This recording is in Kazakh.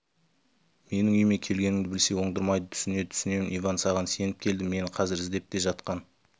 менің үйіме келгеніңді білсе оңдырмайды түсінеді түсінемін иван саған сеніп келдім мені қазір іздеп те жатқан